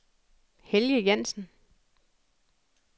Helge Jansen